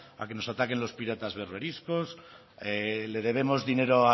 a que nos ataquen los piratas berberiscos le debemos dinero